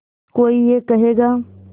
कोई ये कहेगा